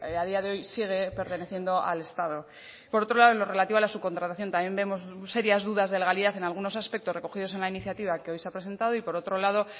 a día de hoy sigue perteneciendo al estado por otro lado en lo relativo a la subcontratación también vemos serias dudas de legalidad en algunos aspectos recogidos en la iniciativa que hoy se ha presentado y por otro lado